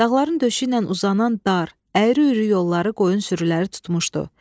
Dağların döşü ilə uzanan dar, əyri-üyrü yolları qoyun sürüləri tutmuşdu.